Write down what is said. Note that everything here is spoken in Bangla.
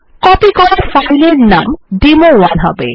কপি করা ফাইল এর নাম ডেমো1 হবে